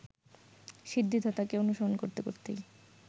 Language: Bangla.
সিদ্ধিদাতাকে অনুসরণ করতে করতেই